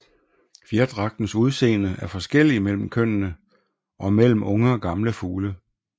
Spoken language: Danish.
Fjerdragtens udseende er forskellig mellem kønnene og mellem unge og gamle fugle